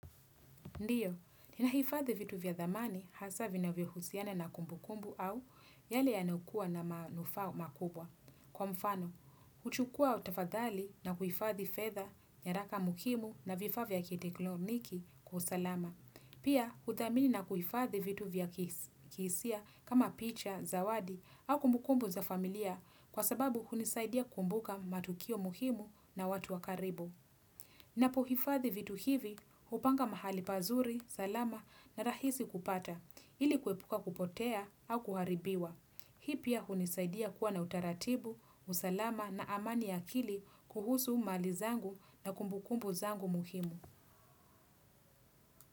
Ndiyo, ninahifadhi vitu vya dhamani hasa vinavyo husiana na kumbu kumbu au yale yanaokuwa na manufaa makubwa. Kwa mfano, huchukua tafadhali na kuifadhi fedha, nyaraka muhimu na vifaa vya kitekloniki kwa usalama. Pia, uthamini na kuifadhi vitu vya kihisia kama picha, zawadi au kumbu kumbu za familia kwa sababu hunisaidia kumbuka matukio mukimu na watu wa karibu. Napohifadhi vitu hivi, hupanga mahali pazuri, salama na rahisi kupata, ili kuwepuka kupotea au kuharibiwa. Hii pia hunisaidia kuwa na utaratibu, usalama na amani ya akili kuhusu mali zangu na kumbukumbu zangu muhimu.